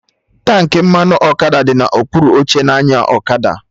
Tankị mmanụ ọkada dị na okpuru oche onye na-anya ọkada